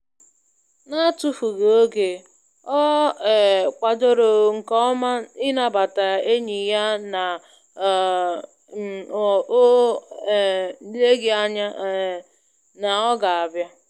N'atufughị oge, ọ um kwadoro nke ọma ịnabata enyi ya na o um o um leghị ányá um na ọ ga-abịa.